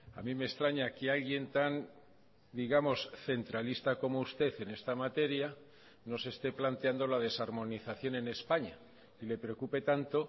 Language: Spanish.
a mí me extraña que alguien tan digamos centralista como usted en esta materia no se esté planteando la desarmonización en españa y le preocupe tanto